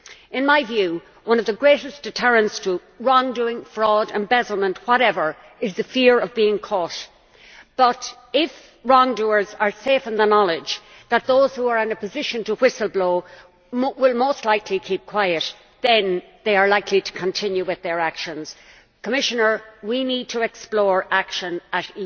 In my view, one of the greatest deterrents to wrongdoing, fraud, embezzlement, whatever, is the fear of being caught, but if wrongdoers are safe in the knowledge that those who are in a position to whistle blow will most likely keep quiet, then they are likely to continue with their actions. Commissioner, we need to explore action at